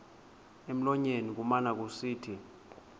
emlonyeni kumane kusithi